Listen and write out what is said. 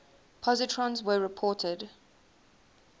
positrons were reported